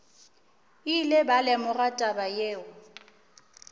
ile ba lemoga taba yeo